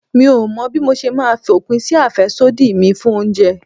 Mi ò mọ̀ bí mo ṣe máa fòpin sí àfẹ́sódì mi fún oúnjẹ.